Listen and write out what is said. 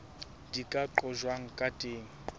di ka qojwang ka teng